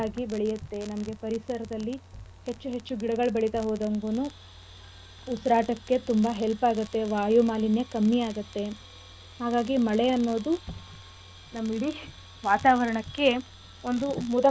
ನಮ್ಗೆ ಪರಿಸರದಲ್ಲಿ ಹೆಚ್ಚು ಹೆಚ್ಚು ಗಿಡಗಳ್ ಬೆಳಿತಾ ಹೋದಂಗುನು ಉಸಿರಾಟಕ್ಕೆ ತುಂಬಾ help ಆಗತ್ತೆ ವಾಯುಮಾಲಿನ್ಯ ಕಮ್ಮಿ ಆಗತ್ತೆ ಹಾಗಾಗಿ ಮಳೆ ಅನ್ನೋದು ನಮ್ಮ ಇಡೀ ವಾತಾವರಣಕ್ಕೆ ಒಂದು ಮುದ ಕೊಡುವಂತ.